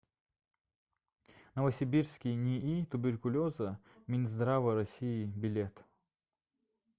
новосибирский нии туберкулеза минздрава россии билет